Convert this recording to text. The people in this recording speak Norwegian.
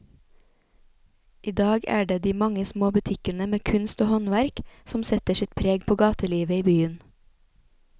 I dag er det de mange små butikkene med kunst og håndverk som setter sitt preg på gatelivet i byen.